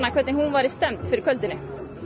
hvernig hún væri stemmd fyrir kvöldinu